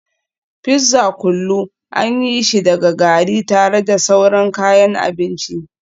Fizza kullu an yi shi daga gari tare da sauran kayan abinci